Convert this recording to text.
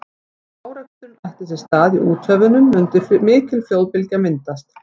ef áreksturinn ætti sér stað í úthöfunum mundi mikil flóðbylgja myndast